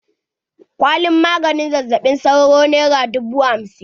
Kwalin maganin zazzaɓin sauro nera dubu hamsin.